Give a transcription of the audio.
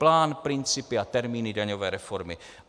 Plán, principy a termíny daňové reformy.